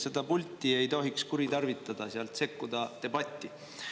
Seda pulti ei tohiks kuritarvitada, sealt sekkuda debatti.